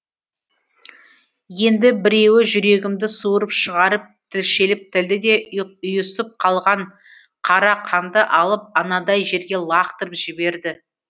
енді біреуі жүрегімді суырып шығарып тілшеліп тілді де ұйысып қалған қара қанды алып анадай жерге лақтырып жіберді